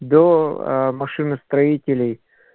до машиностроителей